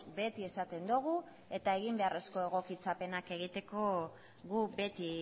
beti esaten dugu eta egin beharrezko egokitzapenak egiteko gu beti